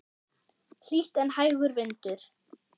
Hlýtt en hægur vindur.